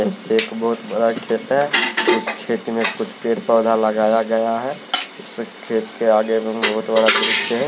ये खेत बहोत बड़ा खेत है इस खेत में कुछ पेड़ पौधा लगाया गया है उस खेत के आगे बहोत बड़ा वृक्ष है।